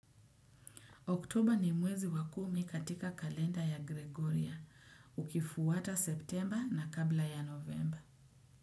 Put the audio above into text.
Oktober ni mwezi wa kumi katika kalenda ya gregoria, ukifuata September na kabla ya November.